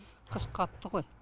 қыс қатты ғой